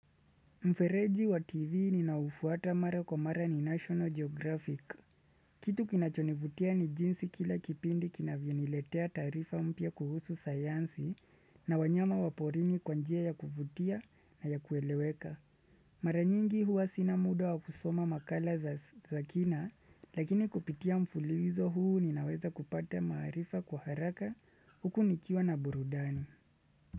Mfereji wa TV ninaufuata mara kwa mara ni National Geographic. Kitu kinachonivutia ni jinsi kila kipindi kina vioniletea tarifa mpya kuhusu sayansi na wanyama waporini kwanjia ya kuvutia na ya kueleweka. Mara nyingi huwa sinamuda wa kusoma makala za kina lakini kupitia mfululizo huu ninaweza kupata maarifa kwa haraka huku nikiwa na burudani.